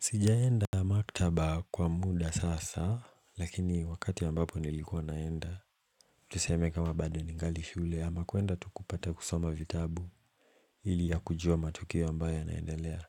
Sijaenda maktaba kwa muda sasa lakini wakati ya ambapo nilikuwa naenda Tuseme kama bado ningali shule ama kuenda tu kupata kusoma vitabu Hili ya kujua matukio ambayo yanaendelea